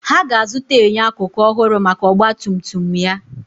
Ha ga-azụta enyo akụkụ ọhụrụ maka ọgba tum tum ya.